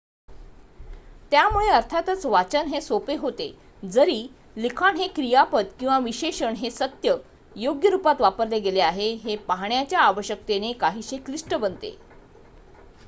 त्यामुळे अर्थातच वाचन हे सोपे होते जरी लिखाण हे क्रियापद किंवा विशेषण हे सत्य/योग्य रुपात वापरले गेले आहे हे पाहण्याच्या आवश्यकतेने काहीसे क्लिष्ट बनते